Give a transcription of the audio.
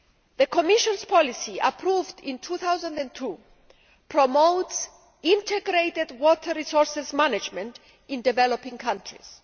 The Commission's policy, approved in 2002, promotes integrated water resources management in developing countries.